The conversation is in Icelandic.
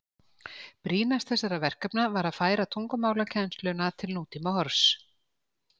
Brýnast þessara verkefna var að færa tungumálakennsluna til nútímahorfs.